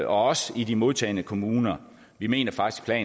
også i de modtagende kommuner vi mener faktisk at